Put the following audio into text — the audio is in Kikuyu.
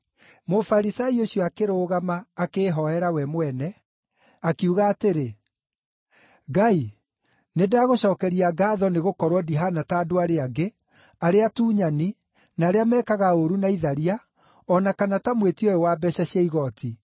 Mũfarisai ũcio akĩrũgama akĩĩhooera we mwene, akiuga atĩrĩ, ‘Ngai, nĩndagũcookeria ngaatho nĩgũkorwo ndihaana ta andũ arĩa angĩ, arĩa atunyani, na arĩa mekaga ũũru, na itharia, o na kana ta mwĩtia ũyũ wa mbeeca cia igooti.